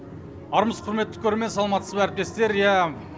армысыз құрметті көрермен саламатсыз ба әріптестер иә